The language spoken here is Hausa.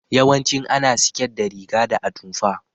Yawancin ana siket da riga da atumfa.